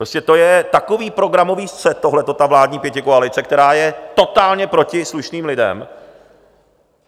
Prostě to je takový programový střet tohleto, ta vládní pětikoalice, která je totálně proti slušným lidem.